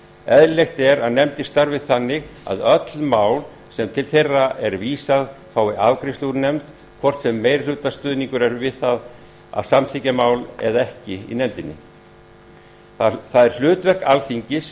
eðlilegt er að nefndir starfi þannig að öll mál sem til þeirra er vísað fái afgreiðslu úr nefnd hvort sem meirihlutastuðningur er við það að samþykkja mál eða ekki í nefndinni það er hlutverk alþingis